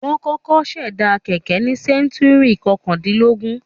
Wọ́n kọ̀kọ́ ṣẹ̀dá kẹ̀kẹ́ ní sẹ́ńtúrì kọkàndínlógún.